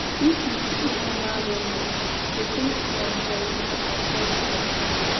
if you be informal vendor di best na for you to avoid police.